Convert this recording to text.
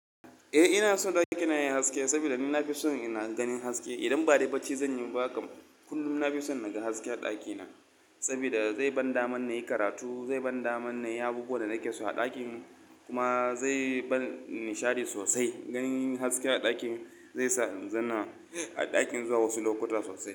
Eh ina so ɗakina yayi haske saboda nina fison ina ganin haske. Idan ba dai barci zanyi ba kam kullum nafison naga haske a ɗakina saboda zai ban daman nayi karatu, zai ban daman na yi abubuwan da nake so a ɗakin kuma zai ban nishadi sosai. Ganin haske a ɗakin zai sa in zana a ɗakin zuwa wasu lokuta sosai.